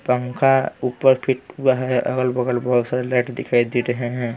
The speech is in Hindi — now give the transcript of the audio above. पंखा ऊपर फिट हुआ है अगल-बगल बहुत सारे लाइट दिखाई दे रहे हैं ।